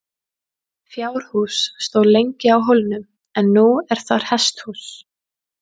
Fjárhús stóð lengi á hólnum en nú er þar hesthús.